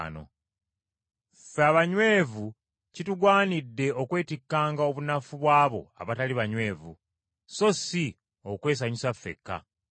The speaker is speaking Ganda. Ffe abanywevu kitugwanidde okwetikkanga obunafu bw’abo abatali banywevu, so si okwesanyusa ffekka.